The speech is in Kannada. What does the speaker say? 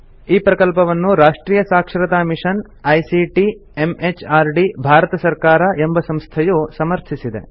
ಈ ಪ್ರಕಲ್ಪವನ್ನು ರಾಷ್ಟ್ರಿಯ ಸಾಕ್ಷರತಾ ಮಿಷನ್ ಐಸಿಟಿ ಎಂಎಚಆರ್ಡಿ ಭಾರತ ಸರ್ಕಾರ ಎಂಬ ಸಂಸ್ಥೆಯು ಸಮರ್ಥಿಸಿದೆ